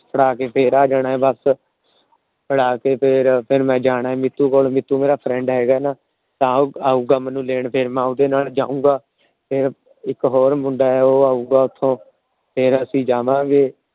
ਫੜਾ ਕੇ ਫੇਰ ਆ ਜਾਣਾ ਏ ਬਸ। ਫੜਾ ਕੇ ਫੇਰ ਮੈ ਜਾਣਾ ਮਿਤੁ ਕੋਲ ਮਿਤੁ ਮੇਰਾ Friend ਹੇਗਾ ਨਾ। ਉਹ ਆਊਗਾ ਮੈਨੂੰ ਲੈਣ ਫੇਰ ਮੈ ਉਹਂਦੇ ਨਾਲ ਜਾਊਂਗਾ। ਇੱਕ ਹੋਰ ਮੁੰਡਾ ਉਹ ਆਊਂਗਾ ਉੱਥੋਂ ਫਰ ਅਸੀਂ ਜਾਵਾਂਗੇ।